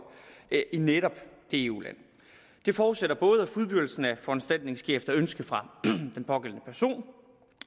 i netop det eu land det forudsætter at både fuldbyrdelsen af foranstaltningen sker efter ønske fra den pågældende person